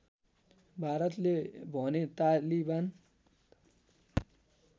भारतले भने तालिबान